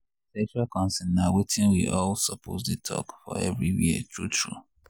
sexual consent na watin we all suppose dey talk for everywhere true true.